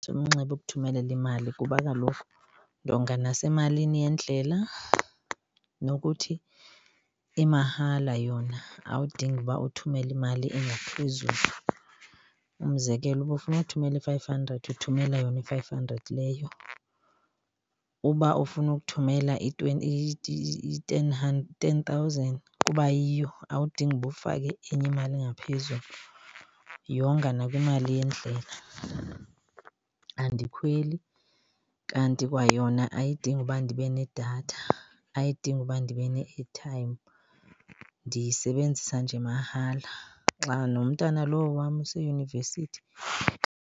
Umnxeba ukuthumelela imali kuba kaloku ndonga nasemalini yendlela nokuthi imahala yona awudingi uba uthumele imali engaphezulu. Umzekelo, uba ufuna ukuthumela i-five hundred uthumela yona i-five hundred leyo. Uba ufuna ukuthumela i-ten thousand kuba yiyo awudingi uba ufake enye imali ngaphezulu. Yonga nakwimali yendlela. Andikhweli kanti kwayona ayidingi uba ndibe nedatha, ayidingi uba ndibe ne-airtime, ndiyisebenzisa nje mahala. Xa nomntana lowo wam useyunivesithi.